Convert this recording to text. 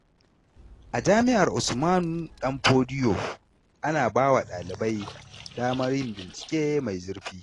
A jami’ar Usman Danfodio, ana ba wa ɗalibai damar yin bincike mai zurfi.